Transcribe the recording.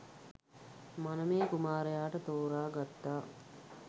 මනමේ කුමාරයාට තෝරා ගත්තා